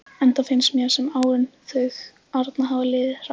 Enda finnst mér sem árin þau arna hafi liðið hratt.